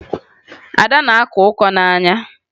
Ada na-akọ ọkọ n'anya ya